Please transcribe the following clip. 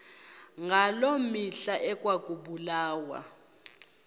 ngaloo mihla ekwakubulawa